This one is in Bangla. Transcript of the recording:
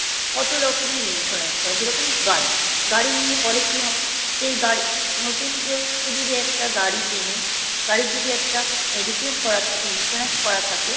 কত রকমের Insurance যেরকম গাড়ি গাড়ি নিয়ে Policy হয় সেই গাড়ি নতুন যদি কেউ একটা গাড়ি কেনে গাড়ির যদি একটা Mediclaim করা থাকে Insurance করা থাকে